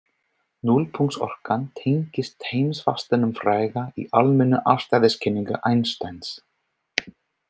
Núllpunktsorkan tengist heimsfastanum fræga í almennu afstæðiskenningu Einsteins.